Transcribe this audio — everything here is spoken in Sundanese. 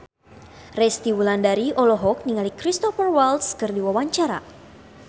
Resty Wulandari olohok ningali Cristhoper Waltz keur diwawancara